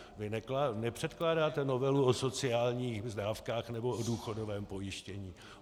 Vy nepředkládáte novelu o sociálních dávkách nebo o důchodovém pojištění.